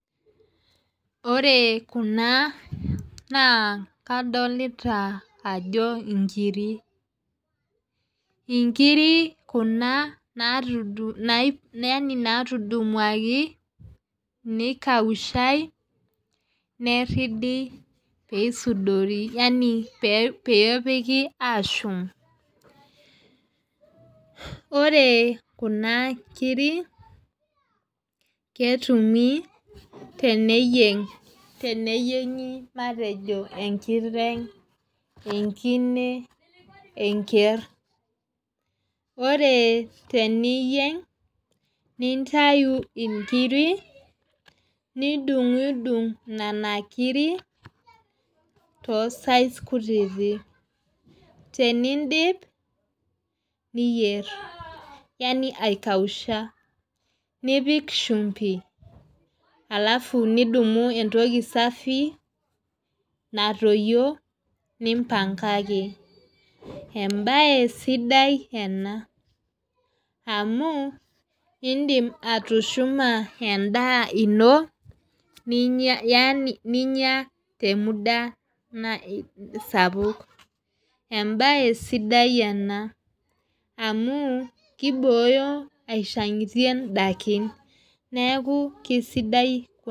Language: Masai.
Ore Kuna naa kadolita Ajo nkiri, nkiri Kuna natudumuaki, nikaushae, neridi pee isudori, Yani peepiki aashum. ore Kuna kiri, ketumi teniyieng' teniyieng'i matejo enkiteng'.enkine, enker, ore teniyieng'. Nintayu nkiri, nidungidung, Nena kiri, too size kutiti tenidip, niyier. yani aikausha. nipik shumpi alafu nidumu entoki safi natoyio. nimpankaki, ebae sidai ena. amu idim atushuma edaa ino Yani ninyia te muda sapuk. ebae sidai ena, amu kibooyo Aishangitie daikin. neeku kisidai.